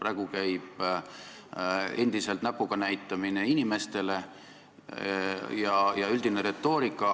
Praegu käib endiselt näpuga näitamine inimestele ja kõlab üldine retoorika.